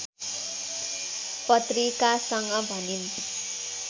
पत्रिकासँग भनिन्